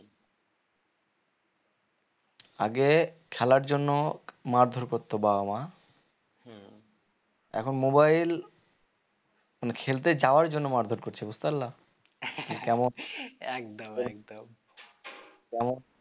আগে খেলার জন্য মারধর করতো বাবা মা এখন mobile মানে খেলতে যাওয়ার জন্য মারধর করছে বুঝতে পারলে